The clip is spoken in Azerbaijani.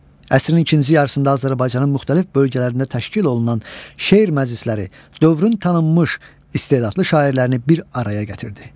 Əsrin ikinci yarısında Azərbaycanın müxtəlif bölgələrində təşkil olunan şeir məclisləri dövrün tanınmış istedadlı şairlərini bir araya gətirdi.